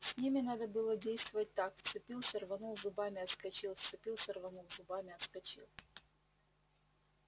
с ними надо было действовать так вцепился рванул зубами отскочил вцепился рванул зубами отскочил